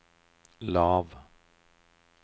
lav